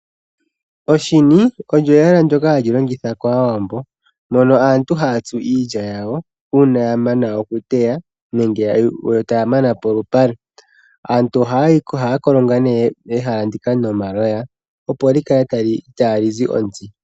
Oshini olyo ehala ndoka hali longithwa kAawambo mono aantu haya tsu iilya yawo, uuna aantu ya mana okuteya ne ge taya mana polupale. Aantu ohaya kolonga nee ehala ndika nomaloya, opo li kale ita li zi ontsi.